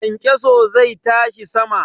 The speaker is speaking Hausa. Kyankyaso zai tashi sama.